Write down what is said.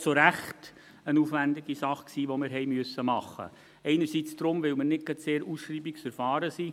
Es war auch zu Recht eine aufwendige Sache, die wir machen mussten, einerseits deshalb, weil wir nicht gerade sehr ausschreibungserfahren sind.